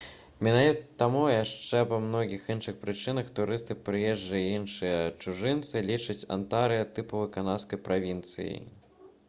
менавіта таму а яшчэ па многіх іншых прычынах турысты прыезджыя і іншыя чужынцы лічаць антарыа тыповай канадскай правінцыяй